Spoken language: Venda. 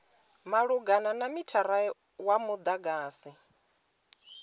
malugana na mithara wa mudagasi